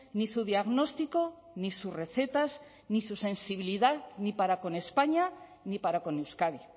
ni su diagnóstico ni sus recetas ni su sensibilidad ni para con españa ni para con euskadi